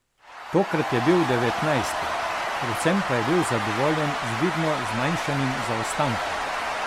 Tokrat je bil devetnajsti, predvsem pa je bil zadovoljen z vidno zmanjšanim zaostankom.